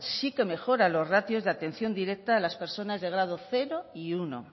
sí que mejora los ratios de atención directa a las personas de grado cero y uno